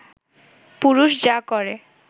পুরুষ যা করে